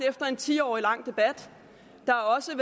efter en ti årig debat der er også